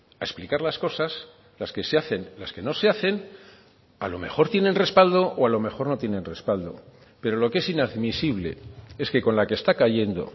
a explicar las cosas las que se hacen las que no se hacen a lo mejor tienen respaldo o a lo mejor no tienen respaldo pero lo que es inadmisible es que con la que está cayendo